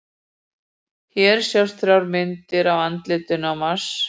Hér sjást þrjár myndir af andlitinu á Mars.